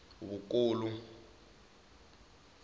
vukulu